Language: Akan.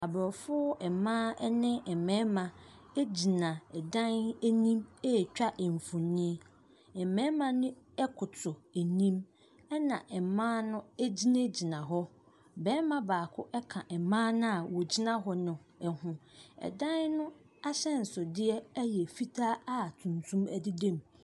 Aborɔfo mmaa ne mmarima gyina dan anim ɛretwa mfonin. Mmarima no koto anim na mmaa no gyinagyina hɔ. Barima baako ka mmaa no a wɔgyina hɔ no ho. Dan no ahyɛnsodeɛ yɛ fitaa a tuntum deda mu.